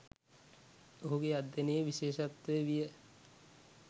ඔහුගේ අධ්‍යයනයේ විශේෂත්වය විය